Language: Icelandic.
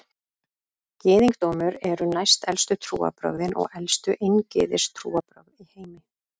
Gyðingdómur eru næstelstu trúarbrögðin og elstu eingyðistrúarbrögð í heimi.